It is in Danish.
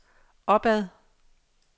opad